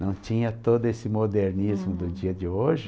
Não tinha todo esse modernismo do dia de hoje.